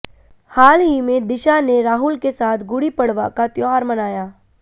हाल ही में दिशा ने राहुल के साथ गुड़ी पड़वा का त्यौहार मनाया